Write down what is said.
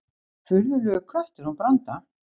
Furðulegur köttur hún Branda.